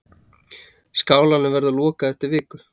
Skálanum verður lokað eftir viku.